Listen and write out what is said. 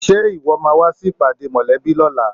Ṣe ìwọ máa wá sí ìpàdé mòlẹ́bí lóla?